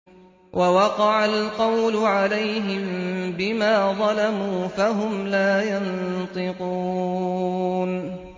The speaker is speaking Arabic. وَوَقَعَ الْقَوْلُ عَلَيْهِم بِمَا ظَلَمُوا فَهُمْ لَا يَنطِقُونَ